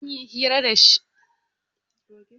Mun yi hira mai tsayi da shi da harshen larabci.